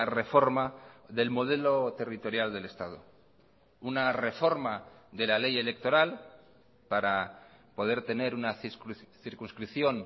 reforma del modelo territorial del estado una reforma de la ley electoral para poder tener una circunscripción